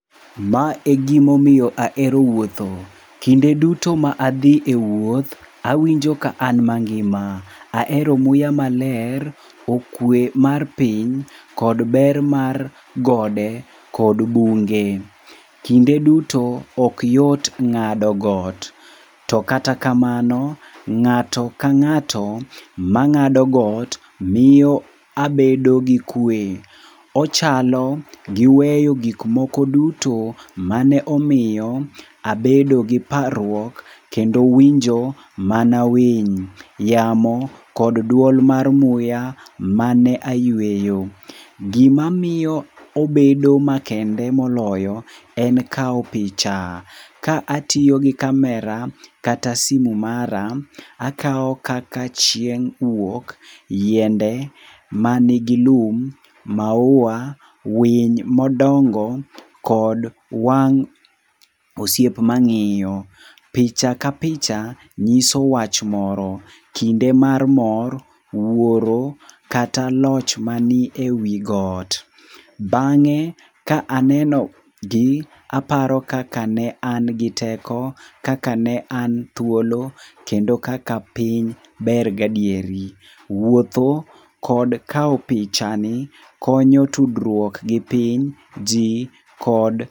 Ma e gimomiyo ahero wuotho. Kinde duto ma adhi e wuoth, awinjo ka an mangima. Ahero muya maler, okwe mar piny kod ber mar gode kod bunge. Kinde duto ok yot ng'ado got, to kata kamano ng'ato ka ng'ato mang'ado got miyo abedo gi kwe. Ochalo gi weyo gikmoko duto mane omiyo abedo gi parruok kendo winjo mana winy, yamo kod dwol mar muya mane ayweyo. Gima miyo obedo makende moloyo en kawo picha ka atiyo gi kamera kata simu mara, akawo kaka chieng' wuok, yiende manigi lum, maua, winy modongo kod wang' osiep mang'iyo. Picha ka picha nyiso wach moro, kinde mar mor, wuoro, kata loch mani e wi got. Bang'e ka aneno gi aparo kaka ne an gi teko kaka ne an thuolo kendo kaka piny ber gadieri. Wuotho kod kawo pichani konyo tudruok gi piny, ji kod.